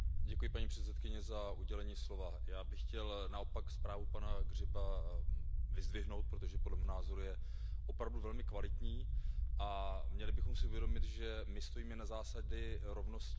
Paní předsedající, já bych chtěl naopak zprávu pana Grzyba vyzdvihnout, protože podle mého názoru je opravdu velmi kvalitní, a měli bychom si uvědomit, že my stojíme na zásadě rovnosti.